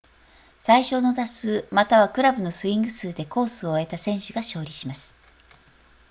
最少の打数またはクラブのスイング数でコースを終えた選手が勝利します